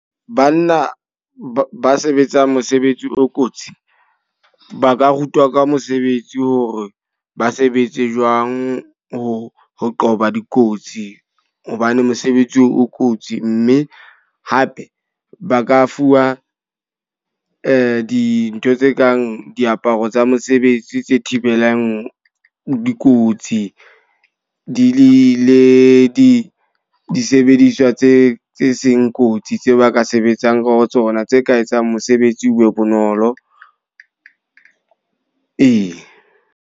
Banna ba sebetsang mosebetsi o kotsi. Na ka rutwa ka mosebetsi hore ba sebetse jwang ho ho qoba dikotsi. Hobane mosebetsi oo o kotsi. Mme hape ba ka fuwa dintho tse kang diaparo tsa mosebetsi tse thibelang dikotsi. Di le di disebediswa tse tse seng kotsi tse ba ka sebetsang ho tsona, tse ka etsang mosebetsi o be bonolo. Ee.